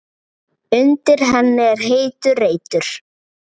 Undir henni er heitur reitur.